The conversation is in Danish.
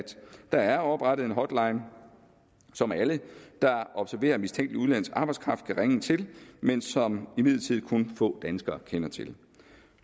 der er oprettet en hotline som alle der observerer mistænkelig udenlandsk arbejdskraft kan ringe ind til men som imidlertid kun få danskere kender til